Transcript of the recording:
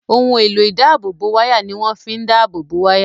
Ohun èlò ìdáàbòbò wáyà ni wọ́n fi ń dáàbò bo wáyà